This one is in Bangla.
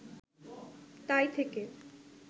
তাই থেকে